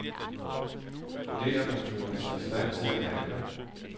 Det, at man føler sig i stand til at handle.